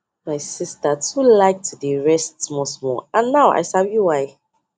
my sister too like to dey rest smallsmall and now i sabi why